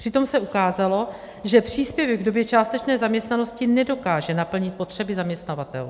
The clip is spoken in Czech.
Přitom se ukázalo, že příspěvek v době částečné zaměstnanosti nedokáže naplnit potřeby zaměstnavatelů.